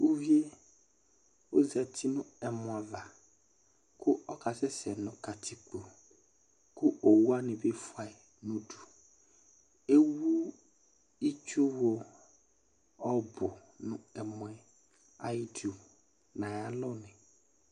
Uvié ɔzati nu ɛmɔ ava ku ɔka sɛsɛ nu katikpo Ku owuwani bi fuayi nudu Ewu itsu wu ɔbu nu ɛmɔɛ ayi tu na ayi alɔni